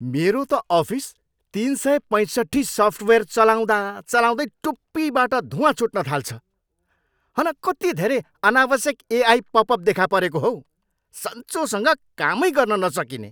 मेरो त अफिस तिन सय पैँसट्ठी सफ्टवेयर चलाउँदा चलाउँदै टुप्पीबाट धुँवा छुट्न थाल्छ। हन कति धेरै अनावश्यक एआई पपअप देखा परेको हौ। सन्चोसँग कामै गर्न नसकिने!